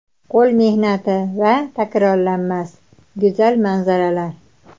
Qo‘l mehnati va... takrorlanmas, go‘zal manzaralar!